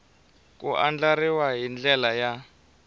ku andlariwa hi ndlela ya